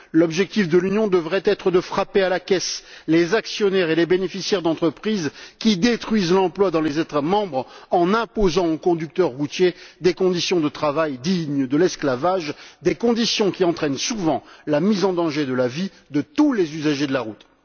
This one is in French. L'objectif de l'Union devrait être de frapper à la caisse les actionnaires et les bénéficiaires d'entreprises qui détruisent l'emploi dans les États membres en imposant aux conducteurs routiers des conditions de travail dignes de l'esclavage, conditions qui entraînent souvent la mise en danger de la vie de tous les usagers de la route.